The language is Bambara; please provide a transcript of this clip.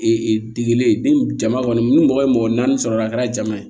degele jama kɔni ni mɔgɔ ye mɔgɔ naani sɔrɔ a la a kɛra jama ye